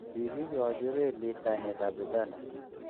kikikochi relit kainetab Uganda.